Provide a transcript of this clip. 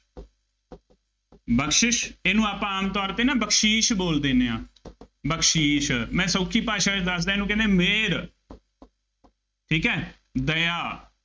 ਬਖਸ਼ਿਸ਼, ਇਹਨੂੰ ਆਪਾਂ ਆਮ ਤੌਰ ਤੇ ਨਾ ਬਖਸ਼ੀਸ਼ ਬੋਲਦੇ ਦਿੰਦੇ ਹਾਂ, ਬਖਸ਼ੀਸ਼, ਮੈਂ ਸੌਖੀ ਭਾਸ਼ਾ ਵਿੱਚ ਦੱਸਦਾਂ, ਇਹਨੂੰ ਕਹਿੰਦੇ, ਮਿਹਰ, ਠੀਕ ਹੈ, ਦਇਆ,